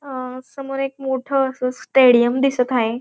अ समोर एक मोठ अस स्टेडिअम दिसत हाय.